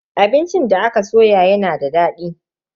Abincin da aka soya yana da dadi.